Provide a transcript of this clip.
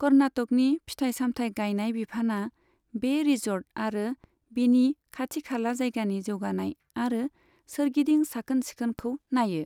कर्नाटकनि फिथाइ सामथाइ गायनाय बिफानआ बे रिजर्ट आरो बिनि खाथिखाला जायगानि जौगानाय आरो सोरगिदिं साखोन सिखोनखौ नायो।